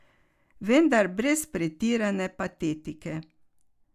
Vendar brez pretirane patetike.